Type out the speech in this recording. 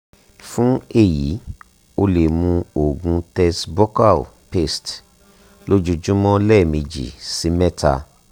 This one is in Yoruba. fun eyi o le mu oògùn tess buccal paste lojoojumọ lẹmeji si mẹta